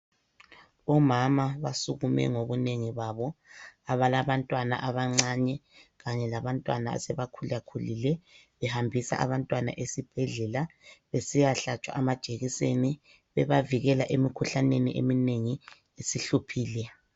Omama basukume ngobunengi babo abalabantwana abancane kanye labantwana asebekhulakhulile behambisa abantwana esibhedlela besiyahlatshwa amajekiseni bebavikela emikhuhlaneni eminengi esihluphile.